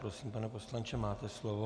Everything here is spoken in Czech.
Prosím, pane poslanče, máte slovo.